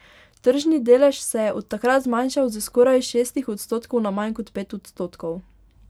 Tržni delež se je od takrat zmanjšal s skoraj šestih odstotkov na manj kot pet odstotkov.